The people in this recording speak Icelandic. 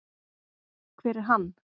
Hver er hann?